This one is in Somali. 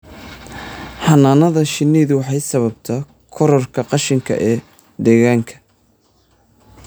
Xannaanada shinnidu waxay sababtaa kororka qashinka ee deegaanka.